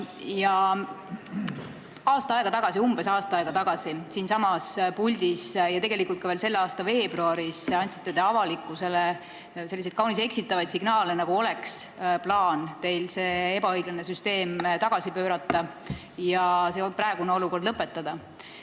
Ja umbes aasta aega tagasi ja tegelikult ka veel tänavu veebruaris andsite te avalikkusele kaunis eksitavaid signaale, nagu teil oleks plaan see ebaõiglane süsteem tagasikäigule pöörata ja praegune olukord lõpetada.